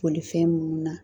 Bolifɛn munnu na